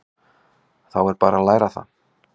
Þá er bara að læra það!